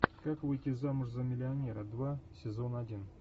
как выйти замуж за миллионера два сезон один